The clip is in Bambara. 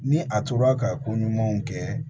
Ni a tora ka ko ɲumanw kɛ